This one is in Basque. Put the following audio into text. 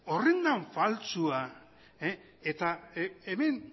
horren den faltsua eta hemen